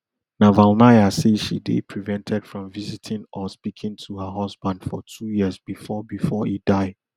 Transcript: navalnaya say she dey prevented from visiting or speaking to her husband for two years bifor bifor e die